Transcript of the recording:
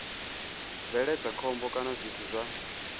bveledza khombo kana zwithu zwa